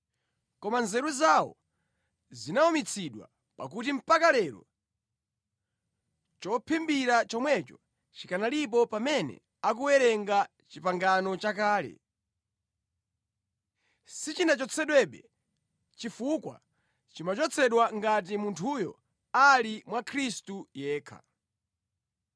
Koma nzeru zawo zinawumitsidwa, pakuti mpaka lero chophimbira chomwecho chikanalipo pamene akuwerenga Chipangano Chakale. Sichinachotsedwebe, chifukwa chimachotsedwa ngati munthuyo ali mwa Khristu yekha.